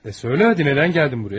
Hə de, niyə gəldin bura?